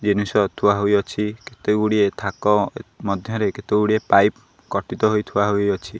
ଜିନିଷ ଥୁଆ ହୋଇଅଛି କେତେ ଗୁଡ଼ିଏ ଥାକ ମଧ୍ୟରେ କେତେ ଗୁଡିଏ ପାଇପି କଟିତ ହୋଇ ଥୁଆ ହୋଇଅଛି।